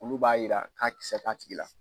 Olu b'a yira k'a kisɛ t'a tigi la.